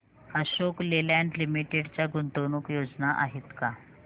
Ashok Leyland Limited च्या गुंतवणूक योजना आहेत का